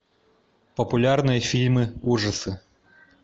популярные фильмы ужасы